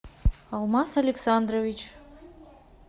алмаз александрович